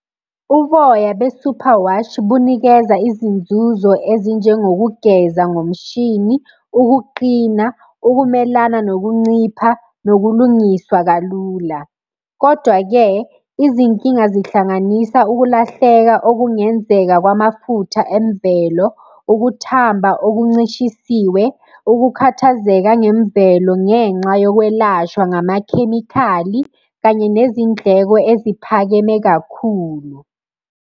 Uboya be-superwash bunikeza izinzuzo ezinjengokugeza ngomshini, ukuqina, ukumelana nokuncipha, nokulungiswa kalula, kodwa-ke izinkinga zihlanganisa ukulahleka okungenzeka kwamafutha emvelo, ukuthamba okuncishisiwe, ukukhathazeka ngemvelo ngenxa yokwelashwa ngamakhemikhali, kanye nezindleko eziphakeme kakhulu.